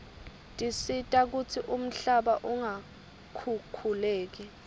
tisita kutsi umhlaba ungakhukhuleki